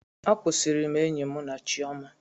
Akwusiri m enyi mụ na Chiọma.